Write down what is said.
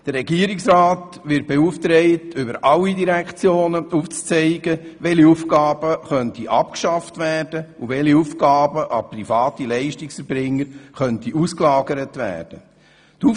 Der Regierungsrat wird damit beauftragt, über alle Direktionen hinweg aufzuzeigen, welche Aufgaben abgeschafft und welche an private Leistungserbringer ausgelagert werden könnten.